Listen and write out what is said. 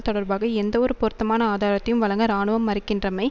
தொடர்பாக எந்தவொரு பொருத்தமான ஆதாரத்தையும் வழங்க இராணுவம் மறுக்கின்றமை